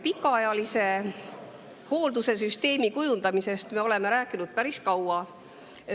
Pikaajalise hoolduse süsteemi kujundamisest me oleme rääkinud päris kaua.